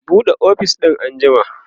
buɗe ofis din an jima!